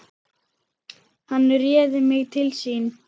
Hann réði mig til sín.